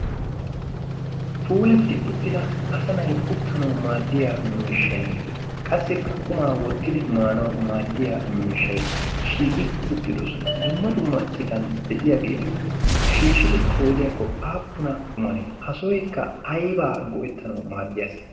puulatti uttida asanay uttanawu maaddiya miishshain qassikka kumaa wottidi maanawu maaddiya miishshai shiiqi uttidosona. dumma dummaccitan de'iyaageeti shiishidi qoodiyaakko aappuna kumanee? ha sohoikka aybaa go'ettanawu maaddiyaasa?